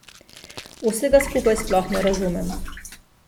Vsega skupaj sploh ne razumem.